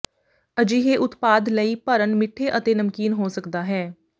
ਅਜਿਹੇ ਉਤਪਾਦ ਲਈ ਭਰਨ ਮਿੱਠੇ ਅਤੇ ਨਮਕੀਨ ਹੋ ਸਕਦਾ ਹੈ